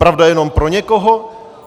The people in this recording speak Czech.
Pravda je jenom pro někoho?